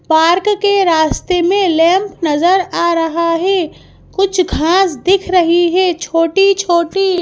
park के रास्ते मे लंब नजर आ रहा है कुछ घास दिख रही है छोटी छोटी--